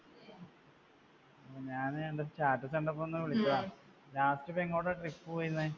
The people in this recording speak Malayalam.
ഞാൻ തൻ്റെ status കണ്ടപ്പൊ ഒന്നുവിളിച്ചതാ. last ഇപ്പൊ എങ്ങോട്ടാ trip പോയിരുന്നെ